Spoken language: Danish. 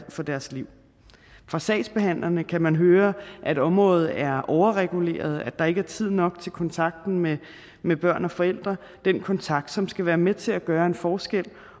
for deres liv fra sagsbehandlerne kan man høre at området er overreguleret at der ikke er tid nok til kontakten med med børn og forældre den kontakt som skal være med til at gøre en forskel